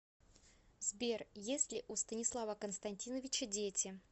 сбер есть ли у станислава константиновича дети